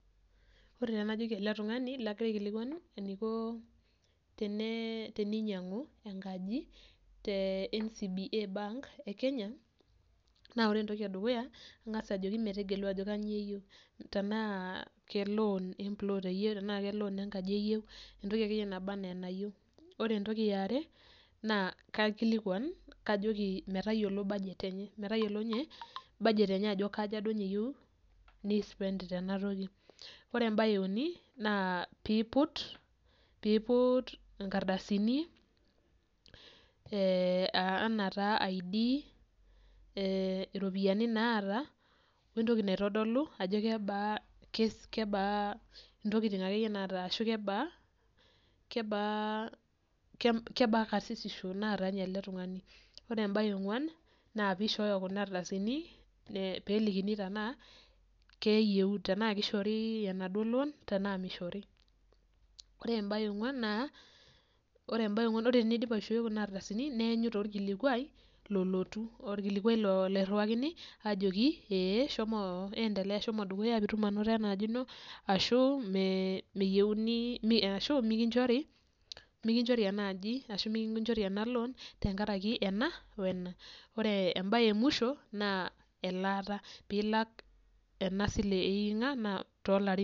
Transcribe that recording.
Ore taa enajoki ele tungani lagira aikilikuan eniko teninyianku enkaji te NCBA bank e Kenya. Naa ore entoki edukuya, inkas ajo metegelu ajo kanyio eyieu, tenaa keloon empulot eyieu enaa keloon enkaji eyieu entoki akeyie naba enaa enayieu. Ore entoki eyaare naa kaikilikuan kajoki metayiolo baget enye metayiolo baget enye ajo kanyio duo eye eyiou ni spend tena toki. Ore embae euni, naa piiput ingardasini enaa taa I'd, iropiyiani naata, wentoki naitodolu ajo kebaa akeyie intokitin naata, kebaa karsisisho naata ele tungani. Ore embae eonkuan, naa piishoyo kuna ardasini peelikini tenaa kishori enaduo loon, tenaa mishori. Ore embae eonkuan naa, ore enaidim aishoi kuna ardasini neenyu taa olkilikuai lolotu olkilikuai loiriwakini ajoki ee shomo endelea shomo dukuya piitum anoto enaaji ino, ashu mikinjori ena aji ashu mikinjori ena loon tenkaraki ena wena. Ore embae emwisho naa elaata ena sile eikinka.